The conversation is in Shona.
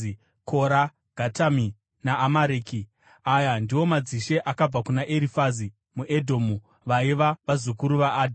Kora, Gatami naAmareki. Aya ndiwo madzishe akabva kuna Erifazi muEdhomu; vaiva vazukuru vaAdha.